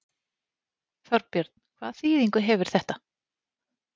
Þorbjörn, hvaða þýðingu hefur þetta?